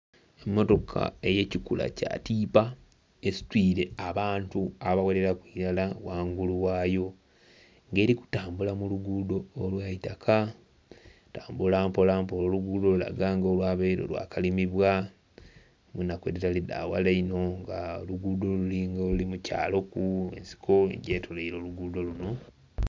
Emmotoka eyekikilura kyatipa esitwire abantu abaghereraku irala ghangulu ghayo nga eri kutambula muluguudo olwaitaka etambula mpolampola oluguudo lulaga nga olwabaire lwakalimibwa enaku edhitali daghala inho nga oluguudo lulinga oluli mukyalo ku ensiko egyetolwaire oluguudo luno.